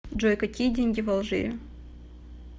джой какие деньги в алжире